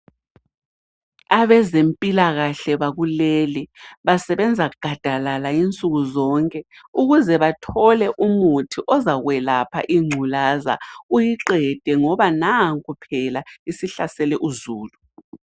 Abezempilakahle bakuleli basebenza gadalala insukuzonke ukuze bathole umuthi ozakwelapha inculaza uyiqede ngoba nanko phela isihlasele uzulu.